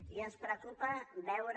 i ens preocupa veure